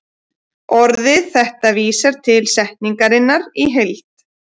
Orðið þetta vísar til setningarinnar í heild.